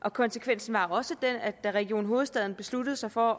og konsekvensen var også den at da region hovedstaden besluttede sig for at